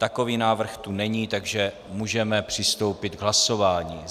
Takový návrh tu není, takže můžeme přistoupit k hlasování.